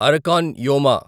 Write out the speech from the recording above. Arakan యోమా